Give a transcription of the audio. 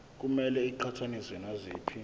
kumele iqhathaniswe naziphi